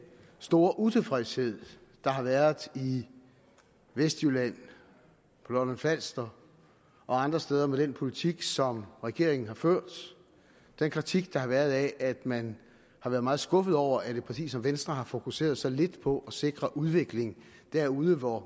store utilfredshed der har været i vestjylland på lolland falster og andre steder med den politik som regeringen har ført og den kritik der har været at man har været meget skuffet over at et parti som venstre har fokuseret så lidt på at sikre udvikling derude hvor